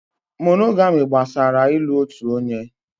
Mónógamị́ gbasara ị́lu otu onye.